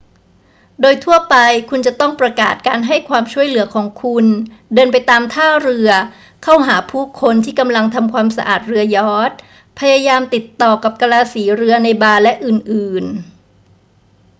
โดยทั่วไปคุณจะต้องประกาศการให้ความช่วยเหลือของคุณ เดินไปตามท่าเรือ เข้าหาผู้คนที่กำลังทำความสะอาดเรือยอตช์ พยายามติดต่อกับกะลาสีเรือในบาร์ และอื่น ๆ